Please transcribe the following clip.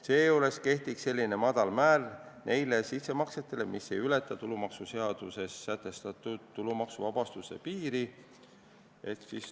Seejuures kehtiks selline madal määr nende sissemaksete korral, mis ei ületa tulumaksuseaduses sätestatud tulumaksuvabastuse piiri.